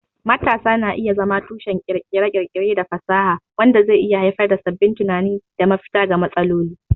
Matasa na iya zama tushen kirkire-kirkire da fasaha, wanda zai iya haifar da sabbin tunani da mafita ga matsaloli.